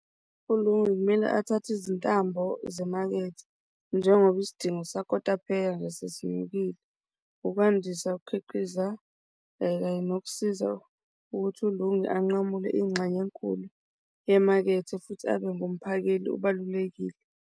ULungi kumele athathe izintambo zemakethe njengoba isidingo sakotapheya nje sesinyukile ukwandisa ukukhiqiza kanye nokusiza ukuthi uLungi anqamuke ingxenye enkulu yemakethe futhi abe ngumphakeli obalulekile.